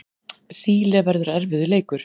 Síle verður erfiður leikur.